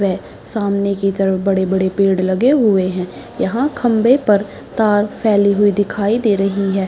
वह सामने की तरफ बड़े-बड़े पेड़ लगे हुए हैं यहाँ खम्बे पर तार फैले हुए दिखाई दे रहें हैं।